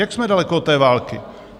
Jak jsme daleko od té války?